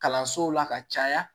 Kalansow la ka caya